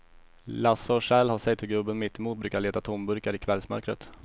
Lasse och Kjell har sett hur gubben mittemot brukar leta tomburkar i kvällsmörkret.